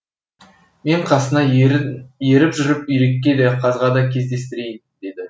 мен қасыңа еріп жүріп үйрекке де қазға да кездестірейін деді